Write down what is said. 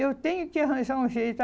Eu tenho que arranjar um jeito.